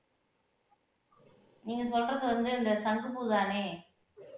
நீங்க சொல்றது வந்து இந்த சங்குப்பூதானே